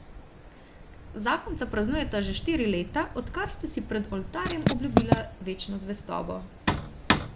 Zakonca praznujeta že štiri leta, odkar sta si pred oltarjem obljubila večno zvestobo.